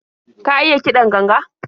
Ka iya kiɗan ganga?